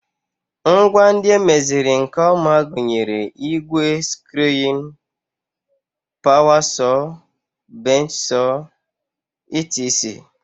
Ngwa ndị emeziri nke ọma gụnyere igwe screwing, power saw, bench saw etc